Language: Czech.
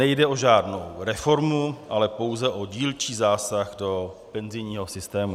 Nejde o žádnou reformu, ale pouze o dílčí zásah do penzijního systému.